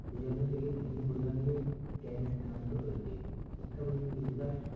এ জন্ম থেকে অন্য প্রজন্মের জ্ঞানের স্থানান্তর রয়েছে শিক্ষা প্রযুক্তির বিকাশ